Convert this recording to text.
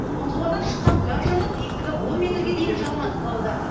ұңғымадан шыққан газ жанып биіктігі он метрге дейін жалын атқылауда